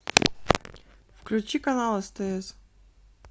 включи канал стс